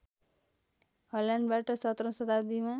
हल्यान्डबाट सत्रौँ शताब्दीमा